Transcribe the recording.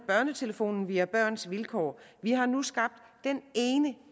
børnetelefonen via børns vilkår vi har nu skabt den ene